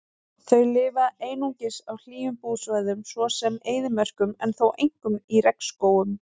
Þau lifa einungis á hlýjum búsvæðum svo sem eyðimörkum en þó einkum í regnskógum.